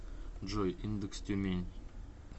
джой индекс тюмень